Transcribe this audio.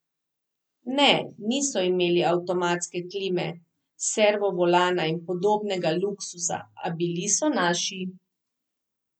Ne, niso imeli avtomatske klime, servovolana in podobnega luksuza, a bili so naši.